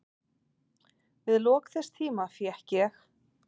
Við lok þess tíma fékk ég